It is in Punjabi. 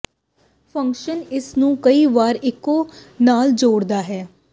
ਫੰਕਸ਼ਨ ਇਸ ਨੂੰ ਕਈ ਵਾਰ ਇੱਕੋ ਨਾਲ ਜੋੜਦਾ ਹੈ